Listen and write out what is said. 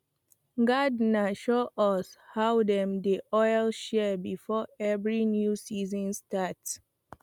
gardener show us how dem dey oil shears before every new season start